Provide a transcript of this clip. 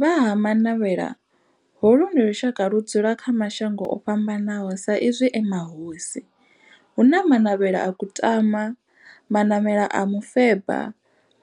Vha Ha-Manavhela, holu ndi lushaka ludzula kha mashango ofhambanaho sa izwi e mahosi hu na Manavhela ha Kutama, Manavhela ha Mufeba,